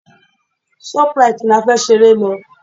Shoprite ni a fẹ́ ṣeré lọ.